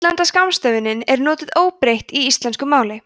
útlenda skammstöfunin er notuð óbreytt í íslensku máli